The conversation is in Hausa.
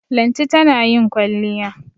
Lanti tana yin kwalliya.